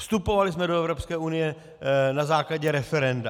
Vstupovali jsme do Evropské unie na základě referenda.